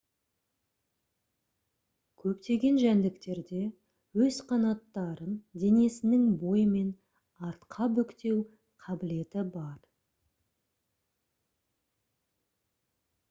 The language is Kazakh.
көптеген жәндіктерде өз қанаттарын денесінің бойымен артқа бүктеу қабілеті бар